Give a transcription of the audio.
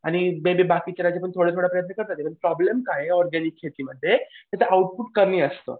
आणि ते जे बाकीचे ते थोडे थोडे प्रयत्न करतात पण प्रॉब्लेम काय आहे ऑरगॅनिक शेतीमध्ये की त्याचं आउटपुट कमी असतं.